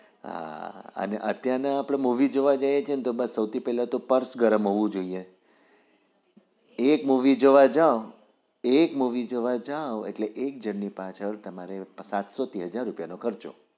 હા અત્યાર ના movie જોવા જઈએ તો બસ સૌથી પેલા પર્સ ગરમ હોવું જોઈએ એક movie જોવા જાવ એક movie જોવા જા એક જણ પાછળ સાતસો થી હઝાર રૂપિયાનો ખર્ચો